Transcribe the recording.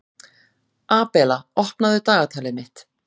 Abela, opnaðu dagatalið mitt.